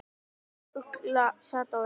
Ugla sat á öxl.